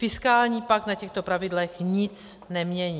Fiskální pakt na těchto pravidlech nic nemění.